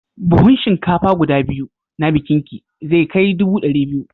Buhun shinkafa guda biyu na bikinki zai kai dubu ɗari biyu.